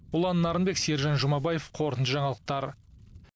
ұлан нарынбек сержан жұмабаев қорытынды жаңалықтар